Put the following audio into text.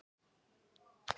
Það skyldi þó ekki vera?